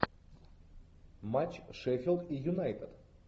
матч шеффилд и юнайтед